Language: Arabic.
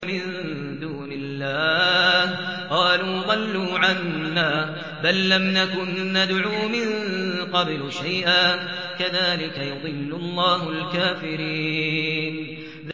مِن دُونِ اللَّهِ ۖ قَالُوا ضَلُّوا عَنَّا بَل لَّمْ نَكُن نَّدْعُو مِن قَبْلُ شَيْئًا ۚ كَذَٰلِكَ يُضِلُّ اللَّهُ الْكَافِرِينَ